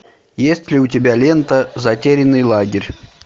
есть ли у тебя лента затерянный лагерь